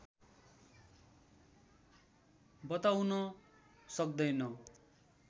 बताउन सक्दैन